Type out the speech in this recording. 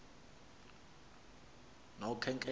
nokhenketho